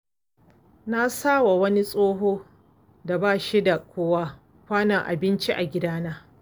Na sawa wani tsoho da ba shi da kowa, kwanon abinci a gidana.